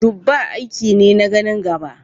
Dubba aiki ne na ganin gaba.